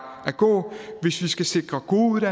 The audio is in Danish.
at gå hvis vi skal sikre gode